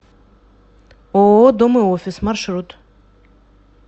ооо дом и офис маршрут